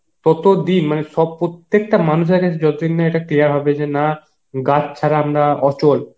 ততো দিন সব প্রত্যেকটা মানুষের কাছে যতদিন না এটা clear হবে যে না, গাছ ছাড়া আমরা অচল